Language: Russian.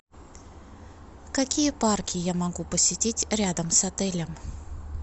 какие парки я могу посетить рядом с отелем